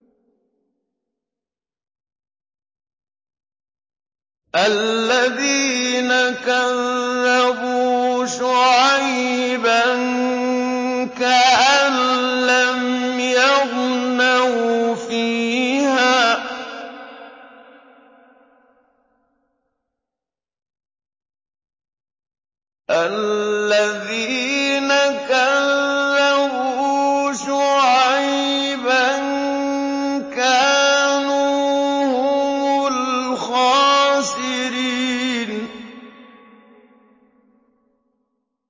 الَّذِينَ كَذَّبُوا شُعَيْبًا كَأَن لَّمْ يَغْنَوْا فِيهَا ۚ الَّذِينَ كَذَّبُوا شُعَيْبًا كَانُوا هُمُ الْخَاسِرِينَ